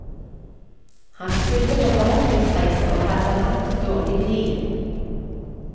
Han skulle på forretningsreise og hadde hatt dårlig tid.